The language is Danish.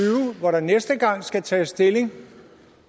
hvor der næste gang skal tages stilling